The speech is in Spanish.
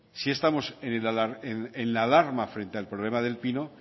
sí estamos en la alarma frente al problema del pino